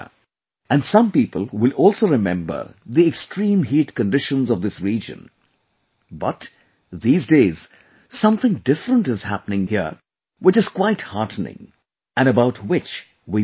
And some people will also remember the extreme heat conditions of this region, but, these days something different is happening here which is quite heartening, and about which, we must know